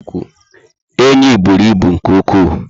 Enyi bụrụ ibu nke ụkwụ